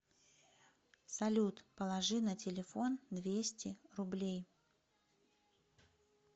салют положи на телефон двести рублей